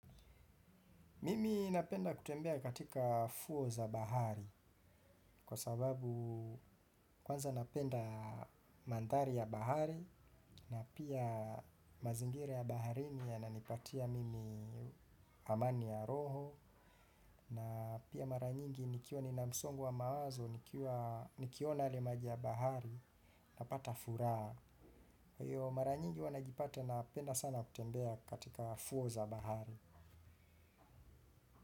Mimi napenda kutembea katika fuo za bahari kwa sababu kwanza napenda mandhari ya bahari na pia mazingira ya baharini yananipatia mimi amani ya roho na pia maranyingi nikiwa ninamsongou wa mawazo nikiona yale maji ya bahari napata furaha. Kwa hivyo mara nyingi huwa najipata napenda sana kutembea katika fuo za bahari.